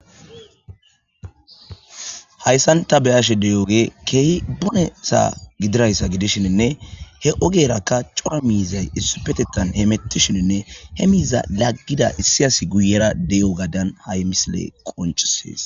hayssan ta beyashe deyooge keehi bunesa gidirayssa gidishininne he ogeerakka cora miizay issupetetan he mettishininne he miiza laggida issiyasi guyera de7o gadan hay misile qoncisees